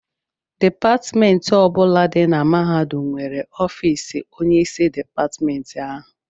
Dipatịmentị ọ bụla dị na mahadum nwere ọfiisi onyeisi dịpatịmentị ahụ.